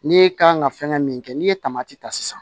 N'e kan ka fɛngɛ min kɛ n'i ye ta sisan